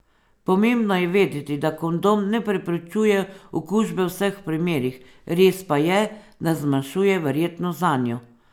Pomembno je vedeti, da kondom ne preprečuje okužbe v vseh primerih, res pa je, da zmanjšuje verjetnost zanjo.